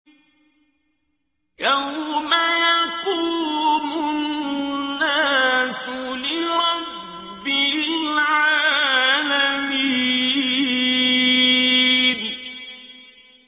يَوْمَ يَقُومُ النَّاسُ لِرَبِّ الْعَالَمِينَ